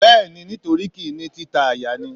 Bẹ́ẹ̀ni, nítorí kì í ní títa àyà ni.